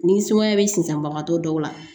Ni sumaya bɛ sinsanbagatɔ dɔw la